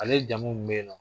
Ale jamu mun b'i nɔn